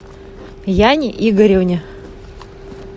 яне игоревне